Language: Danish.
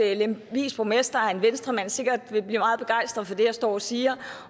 at lemvigs borgmester er en venstremand og sikkert vil blive meget begejstret for det jeg står og siger